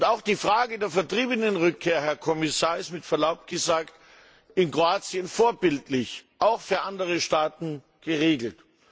Auch die Frage der Vertriebenenrückkehr, Herr Kommissar, ist mit Verlaub gesagt in Kroatien vorbildlich auch für andere Staaten geregelt.